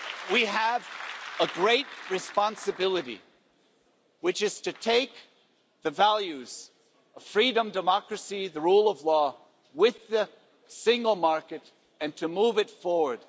We have a great responsibility, which is to take the values of freedom, democracy, the rule of law, with the single market and to move it forward.